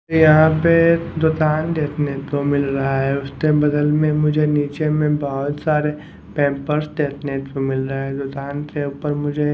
ये यहां पे दोतान देतने को मिल रहा है उसते बदल में मुझे नीचे में बहोत सारे पैंपर्स देखने को मिल रे हैं दोतान ऊपर मुझे--